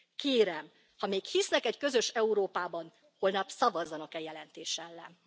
Kérem, ha még hisznek egy közös Európában, holnap szavazzanak e jelentés ellen.